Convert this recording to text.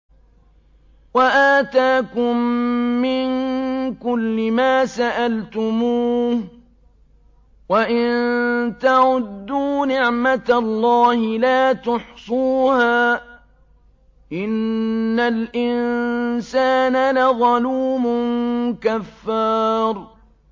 وَآتَاكُم مِّن كُلِّ مَا سَأَلْتُمُوهُ ۚ وَإِن تَعُدُّوا نِعْمَتَ اللَّهِ لَا تُحْصُوهَا ۗ إِنَّ الْإِنسَانَ لَظَلُومٌ كَفَّارٌ